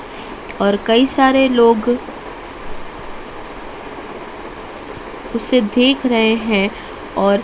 और कई सारे लोग उसे देख रहे हैं और--